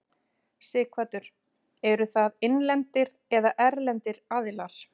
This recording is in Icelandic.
Sighvatur: Eru það innlendir eða erlendir aðilar?